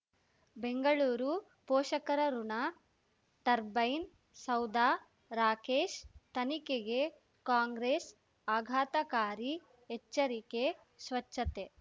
ಬೆಂಗಳೂರು ಪೋಷಕರಋಣ ಟರ್ಬೈನ್ ಸೌಧ ರಾಕೇಶ್ ತನಿಖೆಗೆ ಕಾಂಗ್ರೆಸ್ ಆಘಾತಕಾರಿ ಎಚ್ಚರಿಕೆ ಸ್ವಚ್ಛತೆ